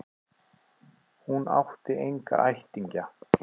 Hún átti enga ættingja.